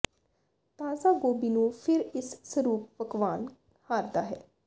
ਤਾਜ਼ਾ ਗੋਭੀ ਨੂੰ ਫਿਰ ਇਸ ਸਰੂਪ ਪਕਵਾਨ ਹਾਰਦਾ ਹੈ